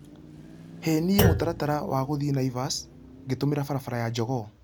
he niĩ mũtaratara waguthiĩ naivas ngĩtumira barabara ya jogoo